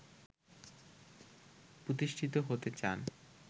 প্রতিষ্ঠিত হতে চান